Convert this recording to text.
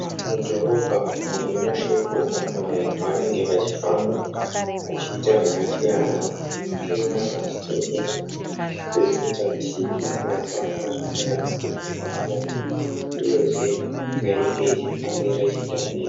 Mudhorobha umo mune mashopu apo vanhu pavanenge vachifamba. Vachiita zvasiyana vamwe vachitenga vamwe vachitengesa, izvo zvinoita kuti vange vachiwanawo zvinoraramisa mhuri yavo uyezve nyika inge ichifambira ichienda mberi.